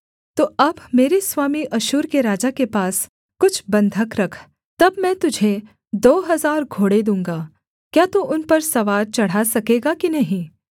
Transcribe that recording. तो अब मेरे स्वामी अश्शूर के राजा के पास कुछ बन्धक रख तब मैं तुझे दो हजार घोड़े दूँगा क्या तू उन पर सवार चढ़ा सकेगा कि नहीं